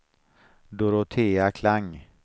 Dorotea Klang